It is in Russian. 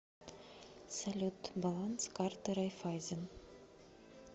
салют баланс карты райффайзен